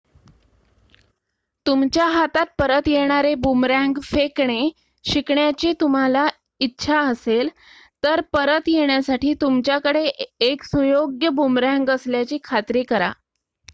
तुमच्या हातात परत येणारे बूमरँग फेकणे शिकण्याची तुम्हाला इच्छा असेल तर परत येण्यासाठी तुमच्याकडे एक सुयोग्य बूमरँग असल्याची खात्री करा